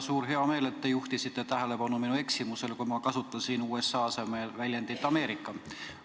Mul on väga hea meel, et te juhtisite tähelepanu minu eksimusele, kui ma kasutasin "USA" asemel sõna "Ameerika".